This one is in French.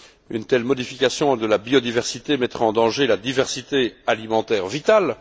Une telle modification de la biodiversité mettrait en danger la diversité alimentaire qui est vitale.